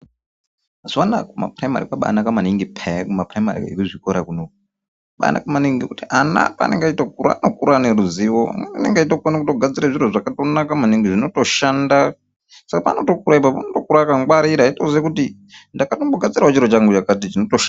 Zvona kumapurayimari kwabaa naka maningi peya kumapurayimari ekuzvikora kunoku, pakanaka maningi nekuti ana paanenge achitokura anokura ane ruzivo anenge eitokona kugadzire zviro zvakanaka maningi zvinotoshanda saka paanotokure ipapo unotokure akangwarira eitoziva kuti ndakatombogadzirewo chiro changu chakati chinotoshanda.